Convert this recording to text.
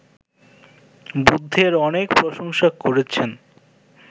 বুদ্ধের অনেক প্রশংসা করেছেন